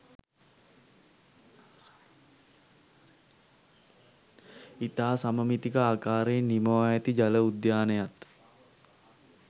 ඉතා සමමිතික ආකාරයෙන් නිමවා ඇති ජල උද්‍යානයත්